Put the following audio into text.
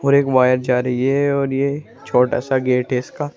और एक वायर जा रही ये और ये छोटा सा गेट है इसका।